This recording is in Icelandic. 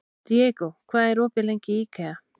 Diego, hvað er opið lengi í IKEA?